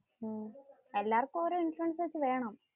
എല്ലാര്ക്കും ഓരോ ഇൻഷുറൻസ് വെച്ച് വേണം.